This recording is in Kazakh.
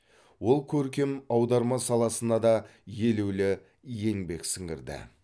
ол көркем аударма саласына да елеулі еңбек сіңірді